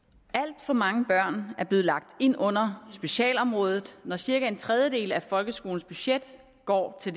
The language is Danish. alt for mange børn er blevet lagt ind under specialområdet når cirka en tredjedel af folkeskolens budget går til